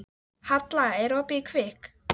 Halla, er opið í Kvikk?